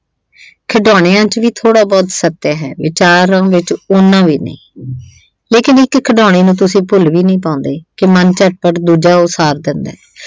ਖਿਡੌਣਿਆਂ ਚ ਵੀ ਥੋੜਾ ਬਹੁਤ ਸੱਤਿਆ ਹੈ, ਵਿਚਾਰਾਂ ਵਿੱਚ ਉਨਾ ਵੀ ਨਹੀਂ। ਲੇਕਿਨ ਇੱਕ ਖਿਡੌਣੇ ਨੂੰ ਤੁਸੀਂ ਭੁੱਲ ਵੀ ਨਈਂ ਪਾਉਂਦੇ ਕਿ ਮਨ ਝਟਪਟ ਦੂਜਾ ਉਸਾਰ ਦਿੰਦਾ।